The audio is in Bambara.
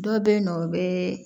Dɔ bɛ yen nɔ o bɛ